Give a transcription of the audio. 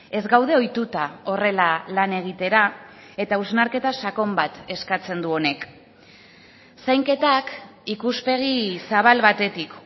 ez gaude ohituta horrela lan egitera eta hausnarketa sakon bat eskatzen du honek zainketak ikuspegi zabal batetik